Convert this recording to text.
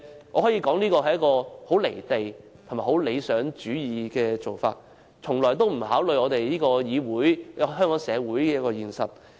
我可以說，這是一種甚為"離地"及理想主義的做法，從來不考慮這個議會及香港社會的現實情況。